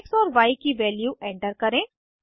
x और Y की value enter करें